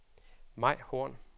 Mai Horn